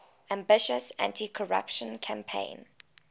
ambitious anticorruption campaign